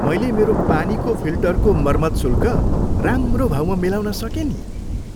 मैले मेरो पानीको फिल्टरको मर्मत शुल्क राम्रो भाउमा मिलाउन सकेँ नि।